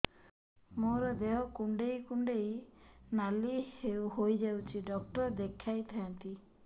ମୋର ଦେହ କୁଣ୍ଡେଇ କୁଣ୍ଡେଇ ନାଲି ହୋଇଯାଉଛି ଡକ୍ଟର ଦେଖାଇ ଥାଆନ୍ତି